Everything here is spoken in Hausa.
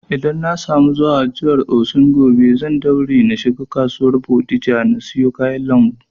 Idan na samu zuwa jihar Osun gobe, zan daure na shiga kasuwar bodija na siya kayan lambu